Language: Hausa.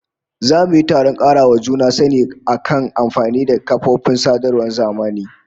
Za mu yi taron karawa juna sani akan amfani da kafofin sadarwar zamani